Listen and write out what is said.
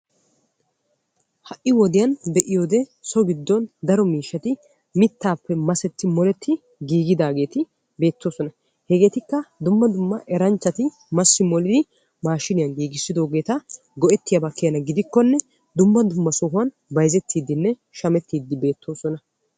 Ha'i wodiyan be'iyoode so giddon daro miishshati mittaappe masetti moletti giigidaageeti beettoosona. Hegeetikka dumma dumma eranchchati massi molidi maashiniyan giigissidoogeeta go'ettiyaaba keena gidikkonne dumma dumma sohuwan bayizettiidinne shamettiiddi beettoosona.